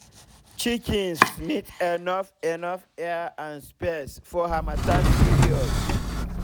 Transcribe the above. chickens need enough enough air and space for hamattan period